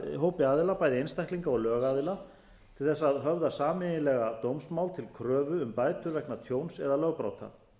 hópi aðila bæði einstaklinga og lögaðila til þess að höfða sameiginlega dómsmál til kröfu um bætur vegna tjóns eða lögbrota